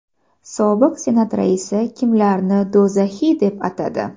Sobiq Senat raisi kimlarni do‘zaxiy deb atadi?